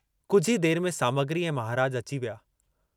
कुझु ई देर में सामग्री ऐं महाराज अची विया।